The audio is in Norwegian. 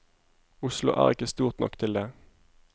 Oslo er ikke stort nok til det.